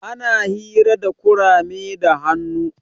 Ana hira da kurame da hannu.